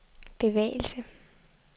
bevægelse